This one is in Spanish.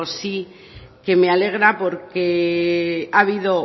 sí que me alegra porque ha habido